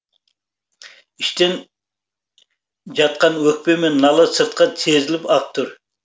іштен жатқан өкпе мен нала сыртқа сезіліп ақ тұр